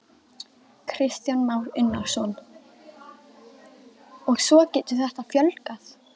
Kristján Már Unnarsson: Og svo getur þetta fjölgað?